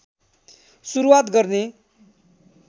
सुरूवात गर्ने